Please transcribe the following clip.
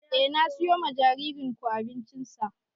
Eh na siyo wa jaririn ku abincin sa